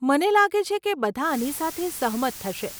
મને લાગે છે કે બધાં આની સાથે સહમત થશે.